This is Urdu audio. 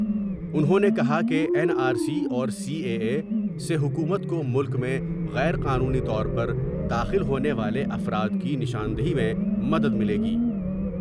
انہوں نے کہا کہ این آر سی اور سی اے اے سے حکومت کو ملک میں غیر قانونی طور پر داخل ہونے والے افراد کی نشاندہی میں مدد ملے گی ۔